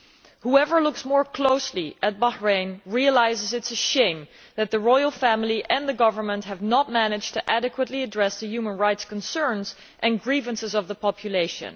Anyone who looks more closely at Bahrain realises that it is shameful that the Royal Family and the government have not managed to adequately address the human rights concerns and grievances of the population.